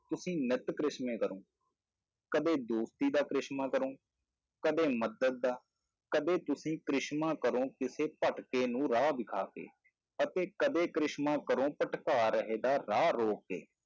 ਤੁਸੀਂ ਨਿਤ ਕਰਿਸ਼ਮੇ ਕਰੋ, ਕਦੇ ਦੋਸਤੀ ਦਾ ਕਰਿਸ਼ਮਾ ਕਰੋ, ਕਦੇ ਮਦਦ ਦਾ, ਕਦੇ ਤੁਸੀਂ ਕਰਿਸ਼ਮਾ ਕਰੋ ਕਿਸੇ ਭਟਕੇ ਨੂੰ ਰਾਹ ਦਿਖਾ ਕੇ ਅਤੇ ਕਦੇ ਕਰਿਸ਼ਮਾ ਕਰੋ ਭਟਕਾ ਰਹੇ ਦਾ ਰਾਹ ਰੋਕ ਕੇ।